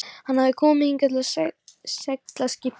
Hann hafði komið hingað á seglskipinu Stein